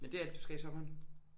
Men det er alt du skal i sommeren?